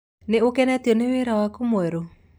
Ní ũkenetio nĩ wĩra waku mwerũ?